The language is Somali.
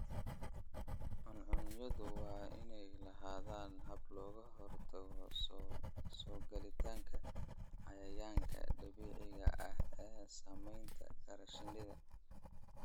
Cuncunyadu waa inay lahaadaan habab looga hortago soo galitaanka cayayaanka dabiiciga ah ee saameyn kara shinnida.